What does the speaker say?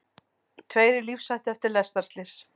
Tveir í lífshættu eftir lestarslys